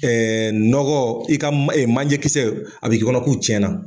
nɔgɔ i ka man e manjɛkisɛ a bɛ kɛ i kɔnɔ k'u tiɲɛna.